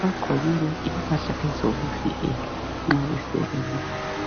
Bagqoke impahla zokuzivikela nxa besebenza.